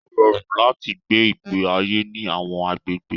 Ó rọrùn láti gbé ìgbé ayé ní àwọn agbègbè